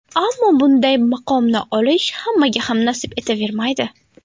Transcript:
Ammo bunday maqomni olish hammaga ham nasib etavermaydi.